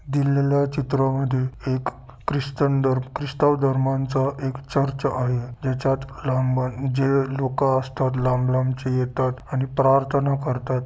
दिलेल्या चित्रा मध्ये एक ख्रिचन धर्म ख्रिचन धर्माच एक चर्च आहे ज्याच्यात जे लोक असतात लांब-लांब चे येतात आणि प्रार्थना करतात.